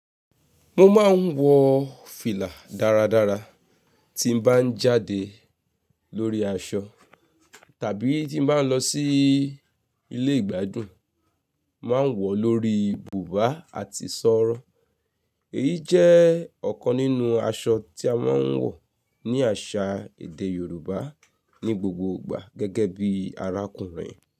Mo máa ń wọ fìlà dáradára tí n bá ń jáde lórí aṣọ tàbí tí n bá ń lọ sí ilé ìgbádùn, n máa ń wọ̀ọ́ lórí bùbá àti sọ́rọ́ Èyí jẹ́ ọ̀kan nínú aṣọ tí a máa ń wọ̀ ní àṣà èdè Yorùbá ní gbogbo ìgbà gẹ́gẹ́ bí arákùnrin.